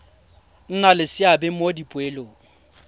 nna le seabe mo dipoelong